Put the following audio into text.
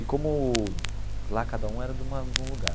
E como lá cada um era de uma de um lugar.